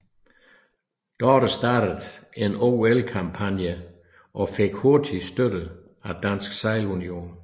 Dorte startede en OL kampagne og fik hurtigt støtte af Dansk Sejlunion